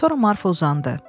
Sonra Marfa uzandı.